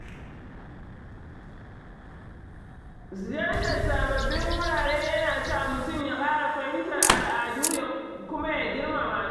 Ziyartar sababbin wurare ya na sa mutum ya ƙara fahimtar al'adu kuma ya girmamasu.